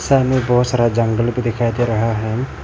Side में बहुत सारा जंगल भी दिखाई दे रहा है।